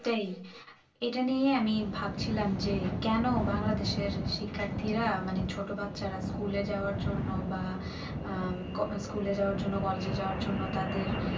সেই এটা নিয়েই আমি ভাবছিলাম যে কেন বাংলাদেশ এর শিক্ষার্থীরা মানে ছোট বাচ্চারা school এ যাওয়ার জন্য বা school এ যাওয়ার জন্য college এ যাওয়ার জন্য তাদের